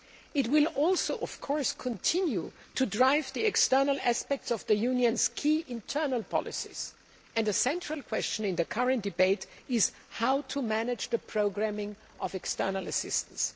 It will also, of course, continue to drive the external aspects of the Union's key internal policies, and a central question in the current debate is how to manage the programming of external assistance.